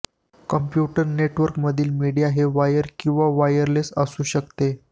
computer network मधील media हे wire किंवा वायरलेस असु शकते